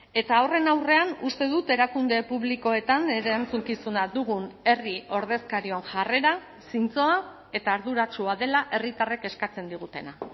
eta horren aurrean uste dut erakunde publikoetan erantzukizuna dugun herri ordezkarion jarrera zintzoa eta arduratsua dela herritarrek eskatzen digutena